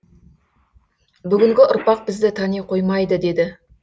бүгінгі ұрпақ бізді тани қоймайды деді